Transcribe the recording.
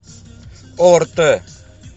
орт